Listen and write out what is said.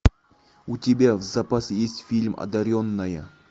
у тебя в запасе есть фильм одаренная